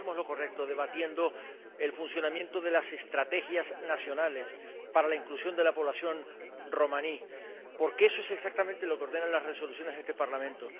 Por eso hacemos lo correcto debatiendo el funcionamiento de las estrategias nacionales para la inclusión de la población romaní, porque eso es exactamente lo que ordenan las Resoluciones de este Parlamento.